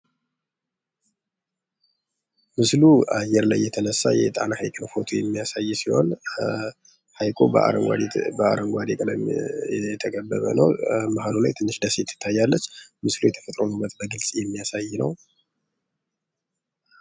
ምስሉ አየር ላይ የተነሳ የጣና ሃይቅን ፎቶ የሚያሳይ ሲሆን ሃይቁ በአረንጓዴ ቀለሞች የተከበበ ነው። መሃል ላይ ትንሽ ደሴት ትታያለች ፤ምስሉ የተፈጥሮን ዉበት በግልጽ የሚያሳይ ነው።